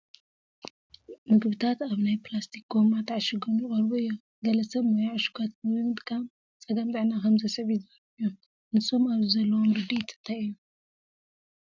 ምግብታት ኣብ ናይ ፕላስቲክ ጎማ ተዓሺጐም ይቐርቡ እዮም፡፡ ገለ ሰብ ሞያ ዕሹጋት ምግቢ ምጥቃም ፀገም ጥዕና ከምዘስዕብ ይዛረቡ እዮም፡፡ ንሶም ኣብዚ ዘለዎም ርድኢት እንታይ እዩ?